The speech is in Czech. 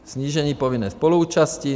Snížení povinné spoluúčasti.